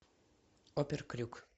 опер крюк